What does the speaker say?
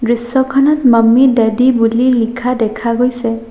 দৃশ্যখনত mummy daddy বুলি লিখা দেখা গৈছে।